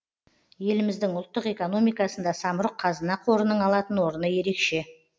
еліміздің ұлттық экономикасында самұрық қазына қорының алатын орны ерекше